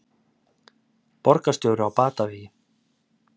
Borgarstjóri á batavegi